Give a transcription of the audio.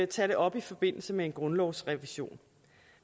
tage det op i forbindelse med en grundlovsrevision